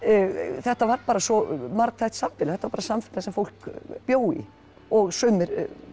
þetta var bara svo margþætt samfélag þetta var bara samfélag sem fólk bjó í og sumir